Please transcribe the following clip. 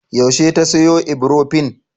Yaushe ta sayo Ibrofen?